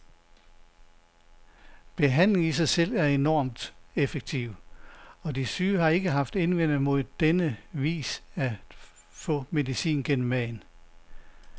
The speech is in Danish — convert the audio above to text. Behandlingen i sig selv er enormt effektiv, og de syge har ikke haft indvendinger mod på denne vis at få medicin gennem maden.